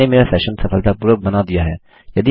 मैंने मेरा सेशन सफलतापूर्वक बना दिया है